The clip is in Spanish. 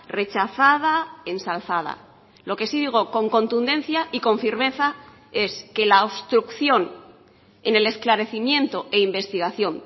rechazada ensalzada lo que sí digo con contundencia y con firmeza es que la obstrucción en el esclarecimiento e investigación